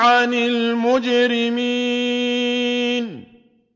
عَنِ الْمُجْرِمِينَ